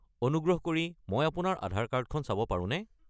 অনুগ্ৰহ কৰি মই আপোনাৰ আধাৰ কাৰ্ডখন চাব পাৰোনে?